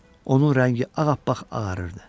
Onun rəngi ağappaq ağarırdı.